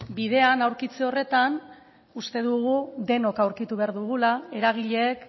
bidean aurkitze horretan uste dugu denok aurkitu behar dugula eragileek